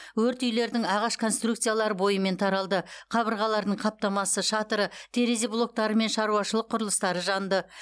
өрт үйлердің ағаш конструкциялары бойымен таралды қабырғалардың қаптамасы шатыры терезе блоктары мен шаруашылық құрылыстары жанды